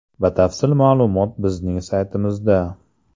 Batafsil ma’lumot bizning saytimizda: .